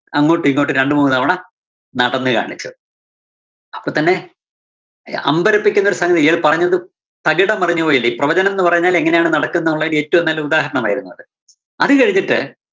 അങ്ങോട്ടും ഇങ്ങോട്ടും രണ്ടുമൂന്നു തവണ നടന്നു കാണിച്ചു. അപ്പോത്തന്നെ ആഹ് അമ്പരപ്പിക്കുന്നൊരു സംഗതിയല്ലേ. ഇയാള് പറഞ്ഞതു തകിടം മറിഞ്ഞു പോയില്ലേ? പ്രവചനംന്ന് പറഞ്ഞാല്‍ എങ്ങിനെയാണ് നടക്കുന്നുള്ളതിന് ഏറ്റവും നല്ല ഉദാഹരണമായിരുന്നു അത്. അത് കഴിഞ്ഞിട്ട്